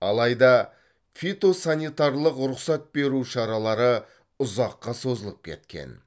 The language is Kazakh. алайда фитосанитарлық рұқсат беру шаралары ұзаққа созылып кеткен